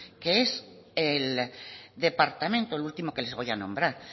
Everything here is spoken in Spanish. que es el departamento lo último que les voy a nombrar